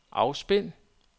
afspil